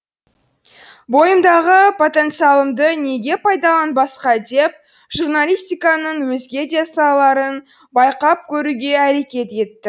бойымдағы потенцалымды неге пайдаланбасқа деп журналистиканың өзге де салаларын байқап көруге әрекет етті